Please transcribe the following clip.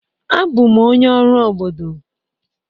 Abụ m onye ọrụ obodo.